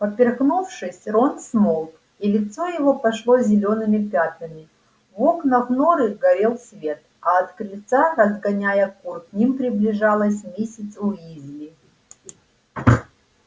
поперхнувшись рон смолк и лицо его пошло зелёными пятнами в окнах норы горел свет а от крыльца разгоняя кур к ним приближалась миссис уизли